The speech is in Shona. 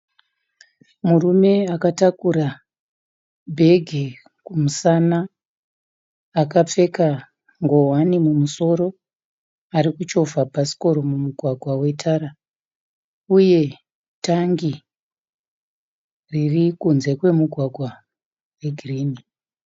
Murume akatakura bhegi kumusana akapfeka ngowani mumusoro. Arikuchovha bhasikoro mumugwaga wetara uye tangi riri kunze kwemugwagwa regirini.